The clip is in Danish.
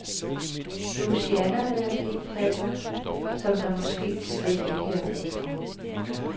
Louisiana vil have p-pladser, som der måske slet ikke er brug for.